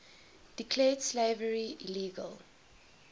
declared slavery illegal